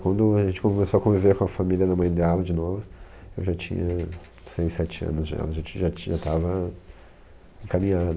Quando a gente começou a conviver com a família da mãe dela de novo, eu já tinha seis sete anos, já já tinha, estava caminhado.